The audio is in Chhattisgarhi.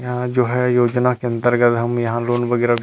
यहाँ जो है योजना के अन्तर्गत हम यहाँ लोन वगैरह भी--